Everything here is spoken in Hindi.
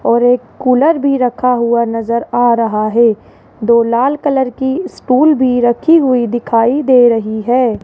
और एक कूलर भी रखा हुआ नजर आ रहा है दो लाल कलर की स्टूल भी रखी हुई नजर आ रही है।